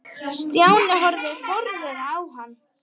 Stjáni horfði forviða á hann.